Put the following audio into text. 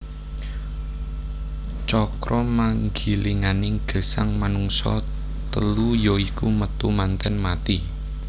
Cakramanggilinganing gesang manungsa telu ya iku Metu Manten Mati